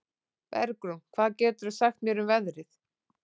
Bergrún, hvað geturðu sagt mér um veðrið?